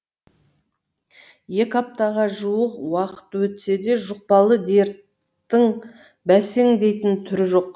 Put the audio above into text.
екі аптаға жуық уақыт өтсе де жұқпалы дерттің бәсеңдейтін түрі жоқ